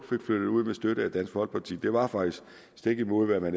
fik flyttet ud med støtte fra dansk folkeparti det var faktisk stik imod hvad man